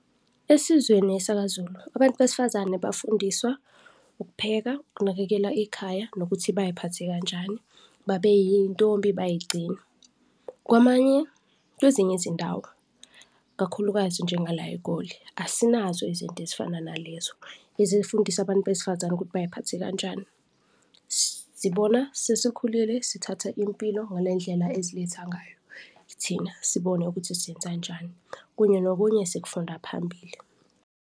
Esizweni esakaZulu abantu besifazane bafundiswa ukupheka, ukunakekela ikhaya nokuthi baziphathe kanjani, babe iy'ntombi bay'gcine. Kwamanye, kwezinye izindawo kakhulukazi njenga la eGoli, asinazo izinto ezifana nalezo ezifundisa abantu besifazane ukuthi bay'phathe kanjani. Sibona sesikhulile, sithatha impilo ngale ndlela eziletha ngayo, thina sibone ukuthi siyenzanjani, kunye nokunye sikufunda phambili.